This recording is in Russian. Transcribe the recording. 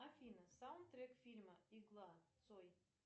афина саундтрек фильма игла цой